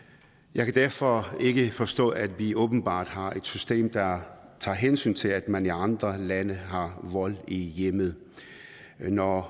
jeg kan derfor ikke forstå at vi åbenbart har et system der tager hensyn til at man i andre lande har vold i hjemmet når